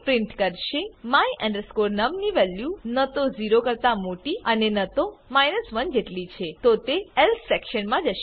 print કરશે my num ની value ન તો 0 કરતા મોટી અને ન તો 1 જટલી છે તો તે એલ્સે સેક્શન માં જશે